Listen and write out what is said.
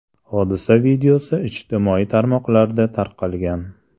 Hodisa videosi ijtimoiy tarmoqlarda tarqalgan.